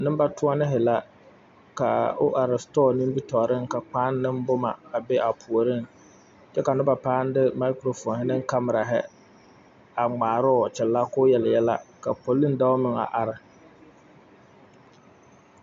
Nimbatoɔnii la ka o are sitɔɔ nimi tɔɔriŋ ka kpaa ne boma a be a puoriŋ kyɛ ka noba paŋ de maakurofooni kamirahi a ŋmaaroo a kyɛlɛ koo yel yɛlɛ ka poliŋ dɔɔ meŋ a are.